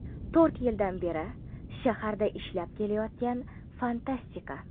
To‘rt yildan beri shaharda ishlab kelayotgan fantastika.